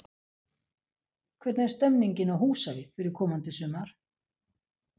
Hvernig er stemmingin á Húsavík fyrir komandi sumar?